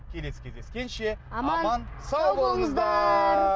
келесі кездескенше аман сау болыңыздар